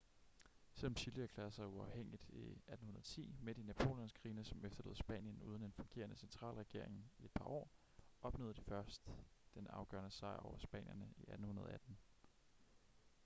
selvom chile erklærede sig uafhængigt i 1810 midt i napoleonskrigene som efterlod spanien uden en fungerende centralregering i et par år opnåede de først den afgørende sejr over spanierne i 1818